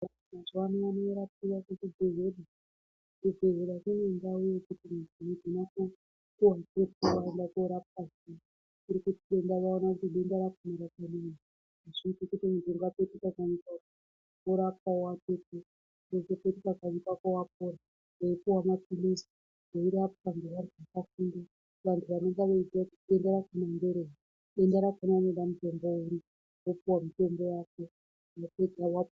Vanhu mazuvano vanorapiwa kuzvibhehlera. Kuzvibhehlera kune ndau yekuti munhu unogona ku.... waenda koorapwa zviya kuri kuti denda vaona kuti denda racho hazviiti kuti muntu ungapetuke kanyi kwako, worapwa, wozopetuka kanyi kwako wapora weipuwa maphilizi weirapwa ngeavantu vakafunda. Vantu vanonga veiziya kuti denda rakona ngerei denda rakona rinodaro ngendaa yei, wopuwa mitombo yako wapedza woa...